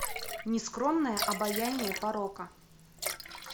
нескромное обаяние порока